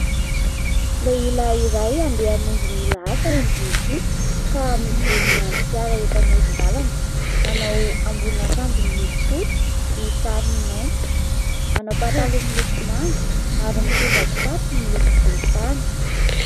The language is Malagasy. Lehilahy iray andeha hamonjy ny lahasany izy ity ka mijoro miandry fiara eto amoron-dalana. Manao ambonina akanjo miloko fotsy misy sary mainty, manao pataloha miloko manga ary mitondra kitapo miloko volontany.